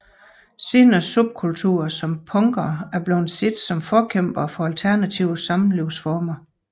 Senere subkulturer som punkere er blevet set som forkæmpere for alternative samlivsformer